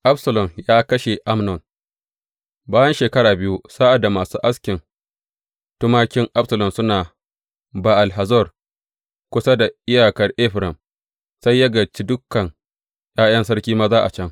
Absalom ya kashe Amnon Bayan shekaru biyu, sa’ad da masu askin tumakin Absalom suna Ba’al Hazor, kusa da iyakar Efraim, sai ya gayyaci dukan ’ya’yan sarki maza a can.